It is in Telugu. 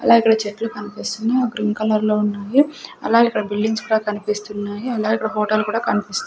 అలాగెకిక్కడ చెట్లు కన్పిస్తున్నాయ్ అవి గ్రీన్ కలర్ లో ఉన్నాయి అలాగెకిక్కడ బిల్డింగ్స్ కూడా కన్పిస్తున్నాయి అలాగెకిక్కడ హోటల్ కూడా కన్పిస్--